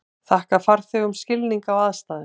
Þakka farþegum skilning á aðstæðum